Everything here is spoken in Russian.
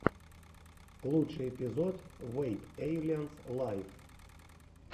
лучший эпизод вэйп эйлианс лайв